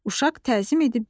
Uşaq təzim edib deyir: